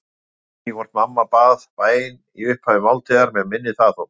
Ég man ekki hvort mamma bað bæn í upphafi máltíðar, mig minnir það þó.